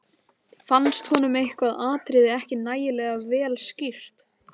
Fannst honum eitthvað atriði ekki nægilega vel skýrt.